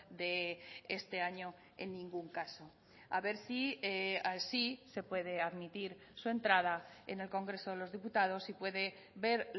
de este año en ningún caso a ver si así se puede admitir su entrada en el congreso de los diputados y puede ver